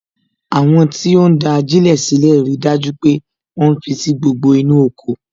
Àwọn tí ó ń da ajilẹ sílè rí dájú pé àwọn fi sí gbogbo inú oko